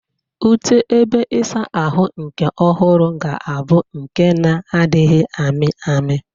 Ute ebe ịsa ahụ nke ọhụrụ ga-abụ nke na-adịghị amị amị.